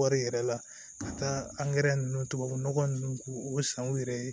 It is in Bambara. wari yɛrɛ la ka taa an tubabu nɔgɔ ninnu k'u san u yɛrɛ ye